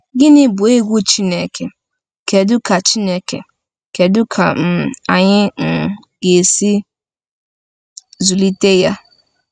Gịnị bụ egwu Chineke, kedu ka Chineke, kedu ka um anyị um ga-esi zụlite ya?